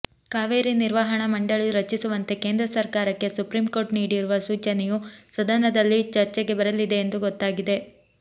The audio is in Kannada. ಕಾವೇರಿ ನಿರ್ವಹಣಾ ಮಂಡಳಿ ರಚಿಸುವಂತೆ ಕೇಂದ್ರ ಸರ್ಕಾರಕ್ಕೆ ಸುಪ್ರೀಂ ಕೋರ್ಟ್ ನೀಡಿರುವ ಸೂಚನೆಯೂ ಸದನದಲ್ಲಿ ಚರ್ಚೆಗೆ ಬರಲಿದೆ ಎಂದು ಗೊತ್ತಾಗಿದೆ